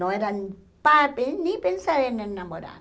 Não era pa pe nem pensar em enamorar.